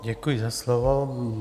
Děkuji za slovo.